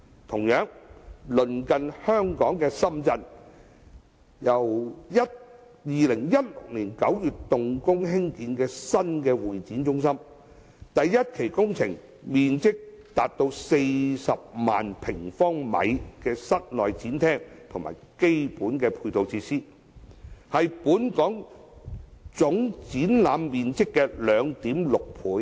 同樣，鄰近香港的深圳，於2016年9月動工興建新的會展中心，第一期工程包括面積達40萬平方米的室內展廳及基本配套設施，是本港總展覽面積的 2.6 倍。